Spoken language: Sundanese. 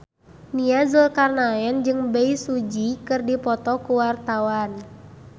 Nia Zulkarnaen jeung Bae Su Ji keur dipoto ku wartawan